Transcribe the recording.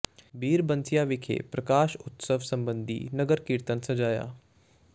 ਬੀੜ ਬੰਸੀਆਂ ਵਿਖੇ ਪ੍ਰਕਾਸ਼ ਉਤਸਵ ਸਬੰਧੀ ਨਗਰ ਕੀਰਤਨ ਸਜਾਇਆ